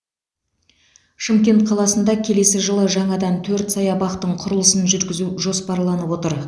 шымкент қаласында келесі жылы жаңадан төрт саябақтың құрылысын жүргізу жоспарланып отыр